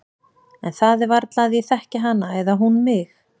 En það er varla að ég þekki hana eða hún mig.